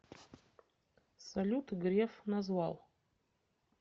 салют греф назвал